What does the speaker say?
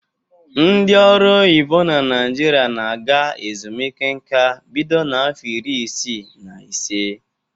Ndị ọrụ oyibo na Naịjirịa na-aga ezumike nka bido n'afọ iri isii na ise.